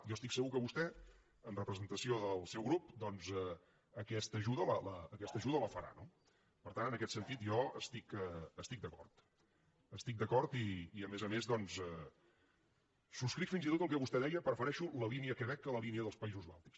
jo estic segur que vostè en representació del seu grup doncs aquesta ajuda la farà no per tant en aquest sentit jo hi estic d’acord hi estic d’acord i a més a més doncs subscric fins i tot el que vostè deia prefereixo la línia quebec que la línia dels països bàltics